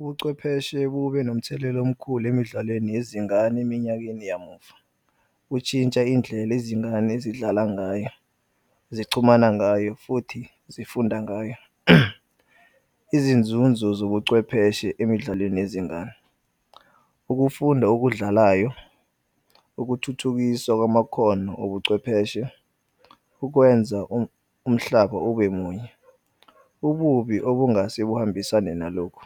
Ubuchwepheshe kube nomthelela omkhulu emidlalweni yezingane eminyakeni yamuva, utshintsha indlela izingane ezidlala ngayo zichumana ngayo futhi zifunda ngayo. Izinzunzo zobuchwepheshe emidlalweni yezingane, ukufunda okudlalayo, ukuthuthukiswa kwamakhono obuchwepheshe, ukwenza umhlaba ubemunye. Ububi okungase buhambisane nalokhu,